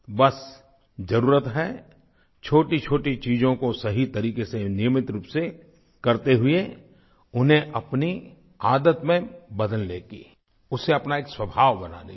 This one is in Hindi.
बस ज़रुरत है छोटीछोटी चीज़ों को सही तरीक़े से नियमित रूप से करते हुए उन्हें अपनी आदत में बदलने की उसे अपना एक स्वभाव बनाने की